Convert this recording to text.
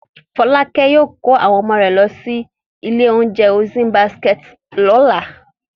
Fọ́lákẹ́ yóò kó àwọn ọmọ rẹ̀ lọ sí ilé-oúnjẹ Ocean Basket lọ́la.